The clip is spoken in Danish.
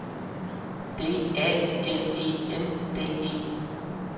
D A L E N D E